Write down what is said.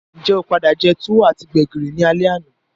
Njé o padà je tuwo ati gbẹ̀gìrì ni alé àná?